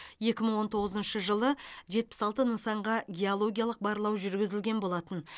екі мың он тоғызыншы жылы жетпіс алты нысанға геологиялық барлау жүргізілген болатын